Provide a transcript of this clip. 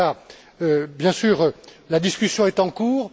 En tout cas, bien sûr, la discussion est en cours.